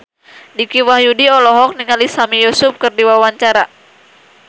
Dicky Wahyudi olohok ningali Sami Yusuf keur diwawancara